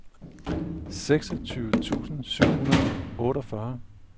seksogtyve tusind syv hundrede og otteogfyrre